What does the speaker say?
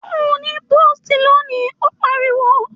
Ò ní pósìtì lónìí, ó pariwo!